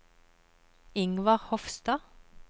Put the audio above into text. Ingvar Hofstad